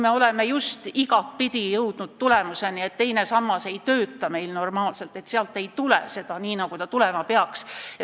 Me oleme ju jõudnud arusaamale, et teine sammas ei tööta normaalselt, sealt ei tule pensionilisa, nagu see tulema peaks.